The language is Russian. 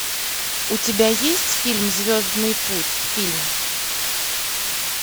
у тебя есть фильм звездный путь фильм